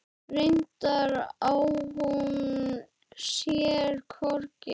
Reyndar á hún sér hvorki